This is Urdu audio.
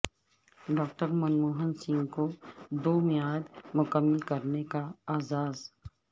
ڈاکٹر منموہن سنگھ کو دو میعاد مکمل کرنے کا اعزاز